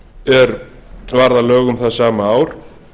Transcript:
er varð að lögum það sama ár